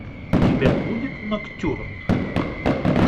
у тебя будет ноктюрн